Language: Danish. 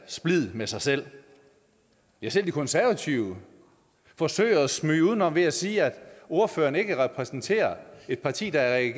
splid med sig selv ja selv de konservative forsøger at smyge sig udenom ved at sige at ordføreren ikke repræsenterer et parti der er i